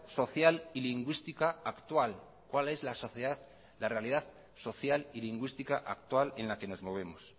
social y lingüística actual en la que nos movemos